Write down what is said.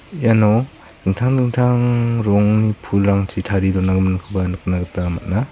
iano dingtang dingtang rong pulrangchi tari donagiminkoba nikna gita man·a.